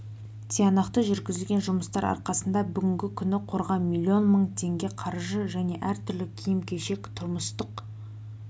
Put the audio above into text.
тиянақты жүргізілген жұмыстар арқасында бүгінгі күні қорға млн мың теңге қаржы және әр түрлі киім-кешек тұрмыстық